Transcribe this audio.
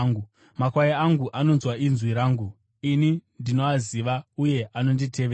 Makwai angu anonzwa inzwi rangu; ini ndinoaziva, uye anonditevera.